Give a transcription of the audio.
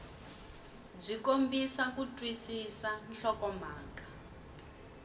byi kombisa ku twisisa nhlokomhaka